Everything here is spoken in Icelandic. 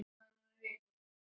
Ég sé til þess.